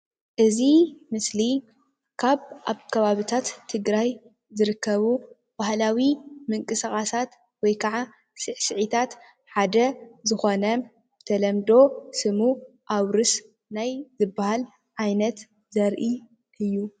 እዚ ምስሊ ካብ ኣብ ከባቢታት ትግራይ ዝርከቡ ባህላዊ ምቅስቓሳት ወይ ካዓ ስዕሲዕታት ሓደ ዝኾነ ብተለምዶ ስሙ ኣውርስ ናይ ዝብሃል ዓይነት ዘርኢ እዩ፡፡